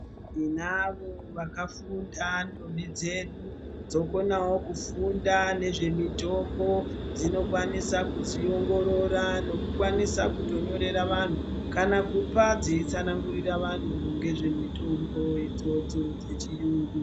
Tinavo vakafunda ndombi dzedu dzokonawo kufunda nezvemitombo dzinokwanisa kudziongorora nekukwanisa kutonyorera vantu kana kupa dzeitsanangirira vanhu ngezvemitombo idzodzo dzechiyungu.